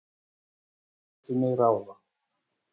Og þau létu mig ráða.